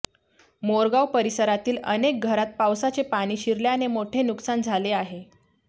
मोरगाव परिसरातील अनेक घरात पावसाचे पाणी शिरल्याने मोठे नुकसान झाले आहे